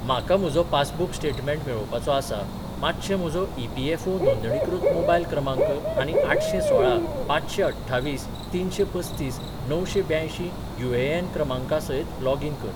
म्हाका म्हजो passbook statement मेळोवपाचो आसा, मातशें म्हजो ई.पी.एफ.ओ. नोंदणीकृत मोबायल क्रमांक आनी आठशेंसोळा पांचशें अठ्ठावीस तिनशें पस्तीस णवशें ब्यंयशीं यू.ए.एन. क्रमांका सयत लॉगीन कर.